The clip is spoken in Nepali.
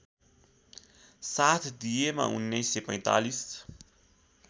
साथ दिएमा १९४५